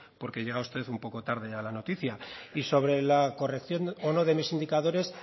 porque llega usted un poco tarde a la noticia y sobre la corrección o no de mis indicadores